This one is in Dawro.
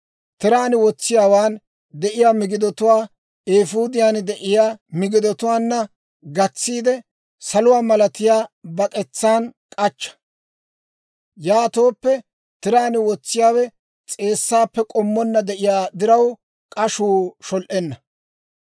Tiraan wotsiyaawaan de'iyaa migidatuwaa eefuudiyaan de'iyaa migidotuwaanna gatsiide, saluwaa malatiyaa bak'etsaan k'achcha; yaatooppe, tiraan wotsiyaawe s'eessaappe k'ommonna de'iyaa diraw, k'ashuu shol"enna.